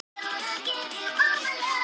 Þá gátum við flogið undir skýjahulunni